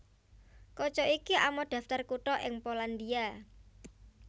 Kaca iki amot daftar kutha ing Polandia